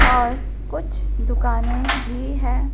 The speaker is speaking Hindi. और कुछ दुकानें भी है।